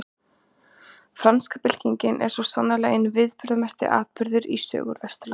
Franska byltingin er svo sannarlega einn mikilverðasti atburðurinn í sögu Vesturlanda.